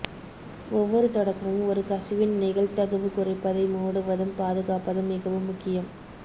ஒவ்வொரு தொடக்கமும் ஒரு கசிவின் நிகழ்தகவு குறைப்பதை மூடுவதும் பாதுகாப்பதும் மிகவும் முக்கியம்